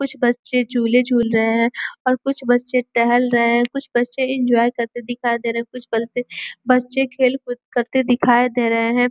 कुछ बच्चे झूले झूल रहे हैं और कुछ बच्चे टहल रहे हैं और कुछ बच्चे एन्जॉय करते दिख दे रहे हैं। कुछ बच्चे खेल-कूद करते दिखाई दे रहे हैं।